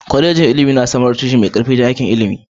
Kwalejoji na ilimi don samar da tushe mai ƙarfi don aiki a ilimi